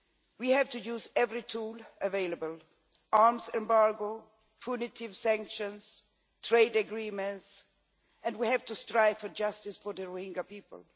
We have to use every tool available arms embargo, punitive sanctions, trade agreements and we have to strive for justice for the Rohingya people.